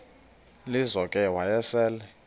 lizo ke wayesel